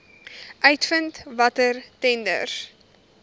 uitvind watter tenders